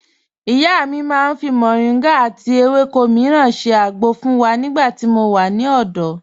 Ìyá mi màá n fi Moringa àti àwọn èwéko míràn ṣẹ́ àgbọ̀ fun wa nígbà tí mò wà ní òdò.